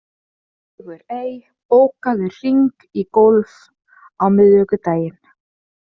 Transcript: Sigurey, bókaðu hring í golf á miðvikudaginn.